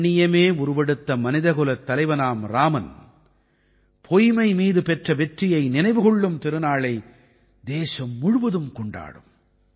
கண்ணியமே உருவெடுத்த மனிதகுலத் தலைவனாம் இராமன் பொய்மை மீது பெற்ற வெற்றியை நினைவு கொள்ளும் திருநாளை தேசம் முழுவதும் கொண்டாடும்